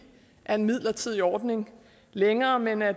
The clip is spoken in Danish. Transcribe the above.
er en midlertidig ordning længere men at